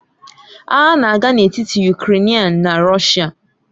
Agha na-aga n'etiti Ukrèịnian na Rọshia.